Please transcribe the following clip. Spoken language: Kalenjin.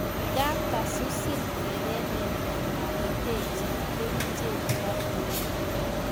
Ngaap kosusin erenet amametachin keriche chotok